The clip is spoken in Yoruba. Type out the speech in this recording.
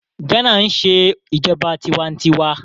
Ghana ń ṣe ìjọba tiwa-n-tiwa